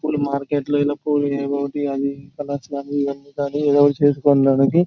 మార్కెట్లో నినా పువ్వులు ఇలా పూలు ఎయిటీ అమ్ముకుంటూ ఏదో ఒకటి చేసుకోవడానికి --